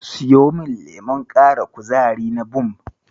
Siyo min lemon ƙara kuzari na Bumb.